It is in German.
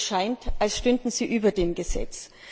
Es scheint, als stünden sie über dem Gesetz.